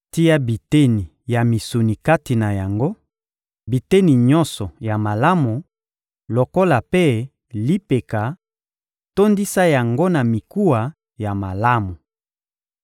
Tia biteni ya misuni kati na yango, biteni nyonso ya malamu: lokolo mpe lipeka; tondisa yango na mikuwa ya malamu.